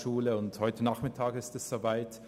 Heute Nachmittag ist es nun so weit.